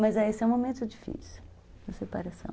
Mas esse é um momento difícil, a separação.